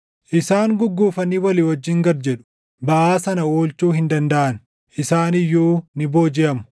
Isaan gugguufanii walii wajjin gad jedhu; baʼaa sana oolchuu hin dandaʼan; isaan iyyuu ni boojiʼamu.